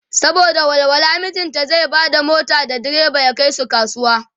saboda walwala mijinta zai Bada mota da diriba ya Kai su kasuwa.